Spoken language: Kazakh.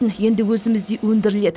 енді өзімізде өндіріледі